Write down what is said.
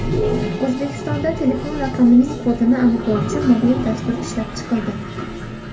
O‘zbekistonda telefon raqamining kodini aniqlovchi mobil dastur ishlab chiqildi.